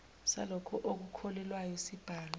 salokho okukhokhelwayo sibhalwe